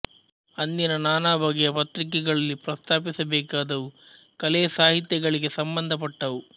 ಅಂದಿನ ನಾನಾ ಬಗೆಯ ಪತ್ರಿಕೆಗಳಲ್ಲಿ ಪ್ರಸ್ತಾಪಿಸಬೇಕಾದವು ಕಲೆ ಸಾಹಿತ್ಯಗಳಿಗೆ ಸಂಬಂಧಪಟ್ಟವು